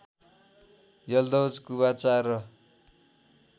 Yalduz Qubacha र